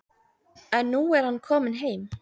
En nú er hann kominn heim.